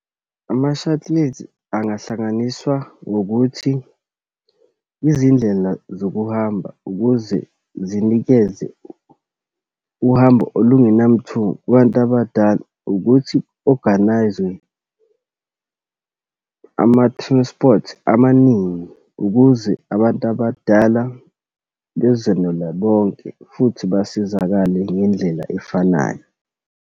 Ama-shuttles, angahlanganiswa ngokuthi izindlela zokuhamba, ukuze zinikeze uhambo olungenamthuko kubantu abadala, ukuthi ku-organise-we ama-transport amaningi ukuze abantu abadala bezonela bonke, futhi basizakale ngendlela efanayo.